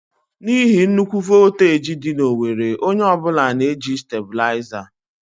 N'ihi nnukwu voltaji dị na owerri, onye ọ bụla na-eji Stàbulaizà.